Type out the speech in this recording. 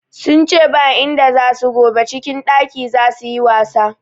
Sun ce ba inda za su gobe, cikin ɗaki za su yi wasa.